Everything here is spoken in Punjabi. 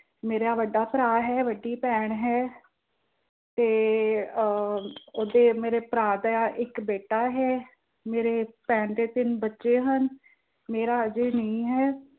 ਮੇਰਾ ਵੱਡਾ ਭਰਾ ਹੈ, ਵੱਡੀ ਭੈਣ ਹੈ। ਤੇ ਆਹ ਉਦੇ ਮੇਰੇ ਭਰਾ ਦਾ ਇੱਕ ਬੇਟਾ ਹੈ, ਮੇਰੀ ਭੈਣ ਦੇ ਤਿੰਨ ਬੱਚੇ ਹਨ, ਮੇਰਾ ਹਾਲੇ ਨਹੀਂ ਹੈ।